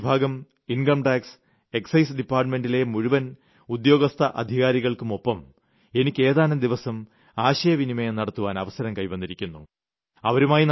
റവന്യൂവിഭാഗം income tax excise ഡിപ്പാർട്ടുമെന്റിലെ മുഴുവൻ ഉദ്യോഗസ്ഥ അധികാരികൾക്കുമൊപ്പം എനിയ്ക്ക് ഏതാനും ദിവസം ആശയവിനിമയം നടത്തുവാൻ അവസരം കൈവന്നിരുന്നു